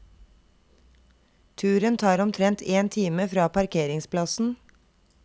Turen tar omtrent en time fra parkeringsplassen.